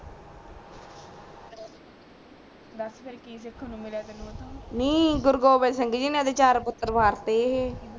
ਬਸ ਫੇਰ ਕਿ ਦੇਖਨ ਨੂੰ ਮਿਲਾ ਤੈਨੂੰ ਉਥੋਂ ਨੀ ਗੁਰੂਗੋਬਿੰਦ ਸਿੰਘ ਜੀ ਦੇ ਚਾਰ ਪੁਤਰ ਮਾਰਤੇ